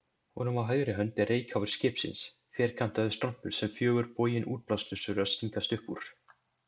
Honum á hægri hönd er reykháfur skipsins, ferkantaður strompur sem fjögur bogin útblástursrör stingast upp úr.